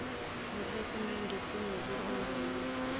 nekhasimede ngokulibonga ulibize